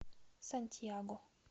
сантьяго